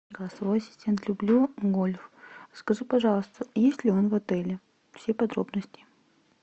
голосовой ассистент люблю гольф скажи пожалуйста есть ли он в отеле все подробности